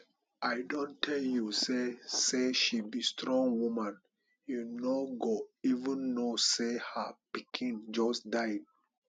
i don tell you say say she be strong woman you no go even no say her pikin just die